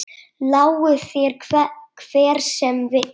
Lái þér hver sem vill.